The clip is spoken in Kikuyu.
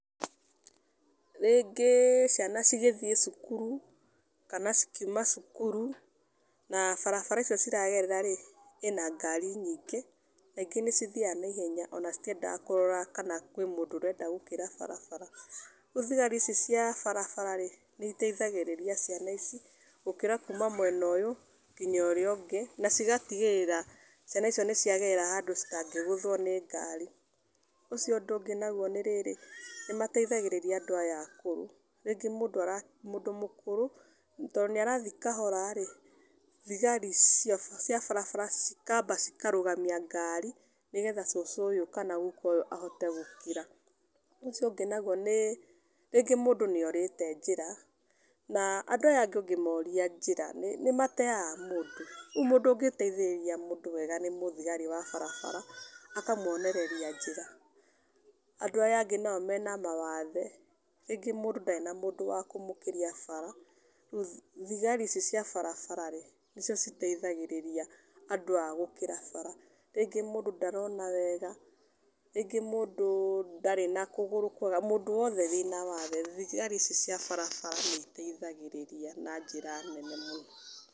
Rĩngĩ ciana cigĩthiĩ cukuru kana cikiuma cukuru na barabara icio ciragerera-rĩ ĩna ngari nyingĩ, na ingĩ nĩcithiaga naihenya ona citiendaga kũrora kana kwĩna mũndũ ũrenda gũkĩra barabara. Rĩu thigari ici cia barabara-rĩ, nĩiteithagĩrĩria ciana ici gũkĩra kuma mwena ũyũ kinya ũrĩa ũngĩ, na cigatigĩrĩra ciana icio nĩciagerera handũ citangĩgũthwo nĩ ngari . Ũcio ũndũ ũngĩ naguo nĩrĩrĩ, nĩmateithagĩrĩria andũ aya akũrũ, rĩngĩ mũndũ ara, mũndũ mũkũrũ tondũ nĩarathiĩ kahora-rĩ, thigari cia barabara cikamba cikarũgamia ngari, nĩgetha cũcũ ũyũ kana guka ũyũ ahote gũkĩra. Ũndũ ũcio ũngĩ naguo nĩ, rĩngĩ mũndũ nĩorĩte njĩra na andũ aya angĩ ũngĩmoria njĩra nĩmateaga mũndũ, rĩu mũndũ ũngĩteithĩrĩria mũndũ wega nĩ mũthigari wa barabara, akamuonereria njĩra. Andũ aya angĩ nao mena mawathe, rĩngĩ mũndũ ndarĩ na mũndũ wa kũmũkĩria barabara, rĩu thigari ici cia barabara-rĩ, nĩcio citeithagĩrĩria andũ aya gũkĩra barabara. Rĩngĩ mũndũ ndarona wega, rĩngĩ mũndũ ndarĩ na kũgũrũ kwega, mũndũ wothe wĩna wathe, thigari ici cia barabara nĩiteithagĩrĩria na njĩra nene mũno.